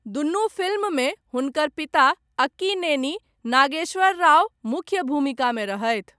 दुनू फिल्ममे हुनकर पिता, अक्कीनेनी नागेश्वर राव, मुख्य भूमिकामे रहथि।